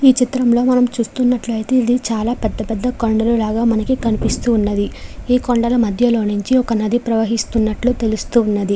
ఈ చిత్రంలో మనం చూస్తునట్లుయితే చాల పెద్ద పెద్ద కొండలు లాగా కనిపిస్తున్నది. ఈ కొండల మధ్యలో నుంచి నది ప్రవహిస్తునట్టు తెలుస్తున్నది.